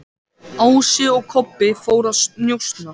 Ási og Kobbi fóru að njósna.